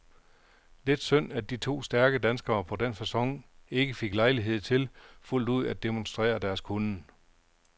Lidt synd at de to stærke danskere på den facon ikke fik lejlighed til fuldt ud at demonstrere deres kunnen.